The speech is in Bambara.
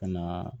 Ka na